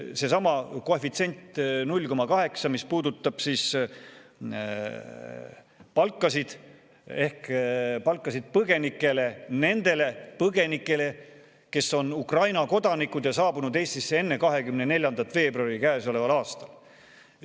Seesama koefitsient 0,8, mis puudutab põgenike palkasid, just nende põgenike omasid, kes on Ukraina kodanikud ja saabunud Eestisse enne 24. veebruari käesoleval aastal.